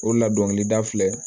O la dɔnkilida filɛ